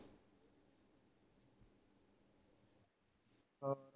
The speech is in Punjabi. ਹੋ